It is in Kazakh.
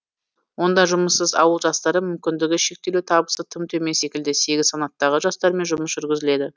онда жұмыссыз ауыл жастары мүмкіндігі шектеулі табысы тым төмен секілді сегіз санаттағы жастармен жұмыс жүргізіледі